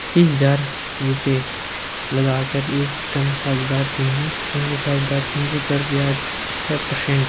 तीस हजार रूपए लगा कर एक साझेदार पूंजी पर ब्याज छ परसेंट --